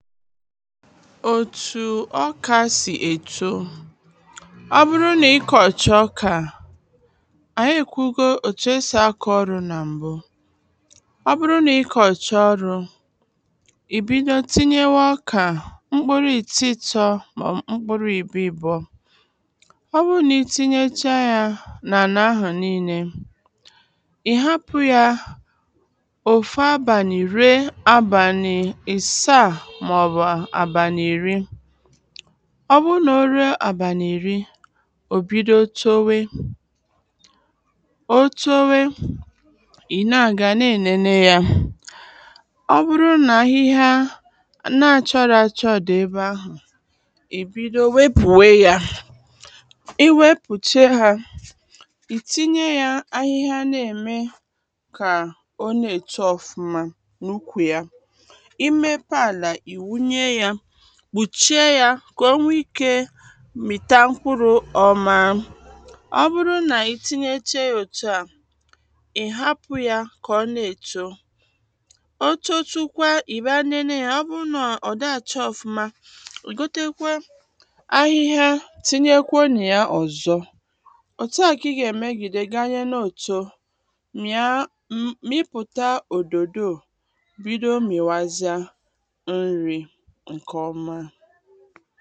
Otu ọka si eto, ọ bụrụ na ikocha ọka, anyị ekwughị ka esi ako olu. Na mbu, ọ bụrụ na ikocha oru, ị bido tinye nwe ọka mkpụrụ atọ-atọ ma ọ bụ mkpụrụ abụọ-abụọ. Ọ bụrụ na ị teghecha ya abárị iri, ọ bụrụ na ọ rụo abalị iri, ị na-aga na-elele ya. Ọ bụrụ na ihe na-acha-acha dị na ebe ahụ, ị bido nwepụ ya, iwepụcha ya na ukwu ya, imepụ ala, ịwụnye ya, kpuchie ya ka o nwee ike mita mkpụrụ nke ọma ka o na-eto. O tochakwa ị gọ tekwe na ya ọzọ mịpụtà ododo, bido miwaziea nri nke ọma.